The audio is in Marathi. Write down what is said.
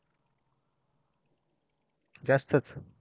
जास्तच